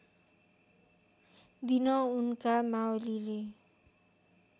दिन उनका मावलीले